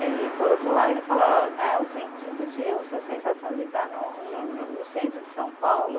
E por outro lado, ele fala, ó né, o sentido de eu, a sensação de estar no no no no centro de São Paulo,